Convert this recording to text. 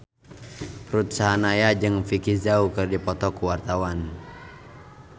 Ruth Sahanaya jeung Vicki Zao keur dipoto ku wartawan